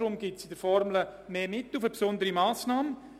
Deshalb gibt es gemäss der Formel mehr Mittel für «Besondere Massnahmen».